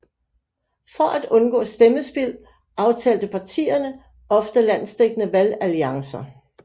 For at undgå stemmespild aftalte partierne ofte landsdækkende valgalliancer